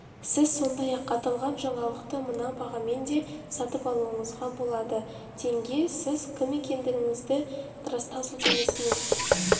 сіз сондай-ақ аталған жаңалықты мына бағамен де сатып алуыңызға болады теңге сіз кім екендігіңізді растау сілтемесіне